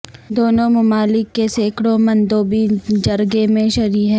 دونوں ممالک کے سینکڑوں مندوبین جرگے میں شری ہیں